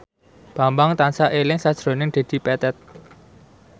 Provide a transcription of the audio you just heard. Bambang tansah eling sakjroning Dedi Petet